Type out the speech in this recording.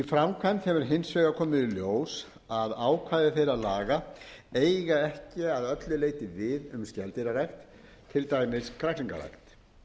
framkvæmd hefur hins vegar komið í ljós að ákvæði þeirra laga eiga ekki að öllu leyti við um skeldýrarækt til dæmis kræklingarækt